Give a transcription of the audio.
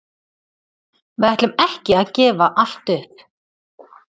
Við ætlum ekki að gefa allt upp.